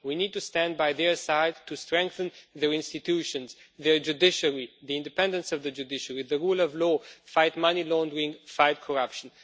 We need to stand by their side to strengthen their institutions, their judiciary the independence of the judiciary the rule of law, to fight money laundering and to fight corruption.